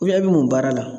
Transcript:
e bɛ mun baara la